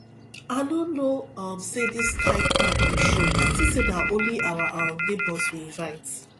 i no know um say dis kin crowd go show i think say na only our um neighbours we invite